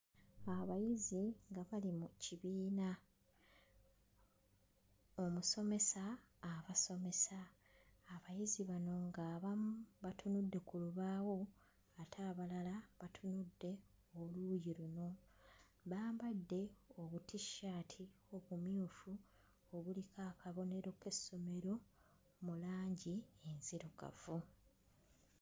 Abayizi nga bali mu kibiina, omusomesa abasomesa, abayizi bano ng'abamu batunudde ku lubaawo ate abalala batunudde oluuyi luno. Bambadde obutissaati obumyufu obuliko akabonero k'essomero mu langi enzirugavu.